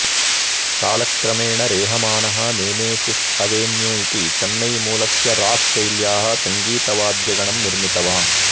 कालक्रमेण रेहमानः Nemesis Avenue इति चेन्नैमूलस्य राक् शैल्याः सङ्गीतवाद्यगणं निर्मितवान्